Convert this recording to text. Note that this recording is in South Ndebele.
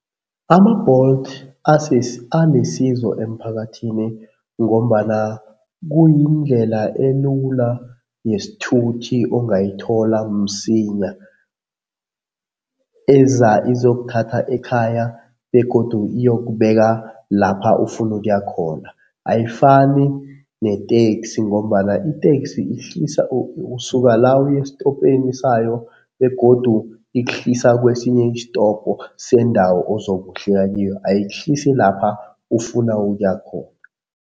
Ama-Bolt anesizo emphakathini ngombana kuyindlela elula yesithuthi ongayithola msinya eza izokuthatha ekhaya begodu iyokubeka lapha ufuna ukuya khona. Ayifani neteksi ngombana iteksi ihlisa usuka la uye estopeni sayo begodu ikuhlisa kwesinye isitopo sendawo ozokuhlika kiyo, ayikuhlisi lapha ufuna ukuya khona.